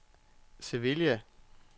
Sevilla